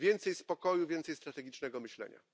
Więcej spokoju, więcej strategicznego myślenia.